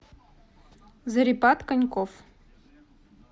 зарипат коньков